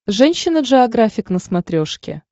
женщина джеографик на смотрешке